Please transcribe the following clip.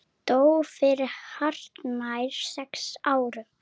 Dó fyrir hartnær sex árum.